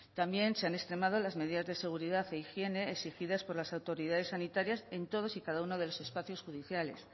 también se han extremado las medidas de seguridad e higiene exigidas por las autoridades sanitarias en todos y cada uno de los espacios judiciales